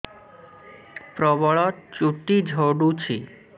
ପ୍ରବଳ ଚୁଟି ଝଡୁଛି